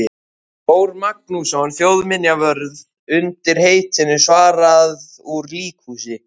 Þór Magnússon þjóðminjavörð undir heitinu Svarað úr líkhúsi.